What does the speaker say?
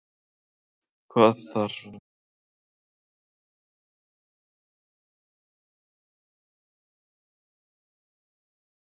Hvað þarf lið að fá mörg rauð spjöld til að leiknum verði slitið?